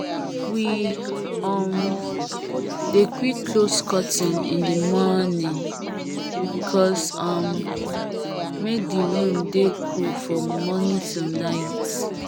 we um dey quick close curtain in the mornaing because um make the room dey cool from morning till night